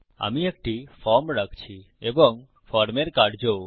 আমি একটি ফর্ম রাখছি এবং ফর্মের কার্যও